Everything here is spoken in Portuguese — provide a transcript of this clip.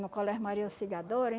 No colégio Maria Auxiliadora.